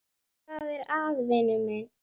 Hvað er að, vinur minn?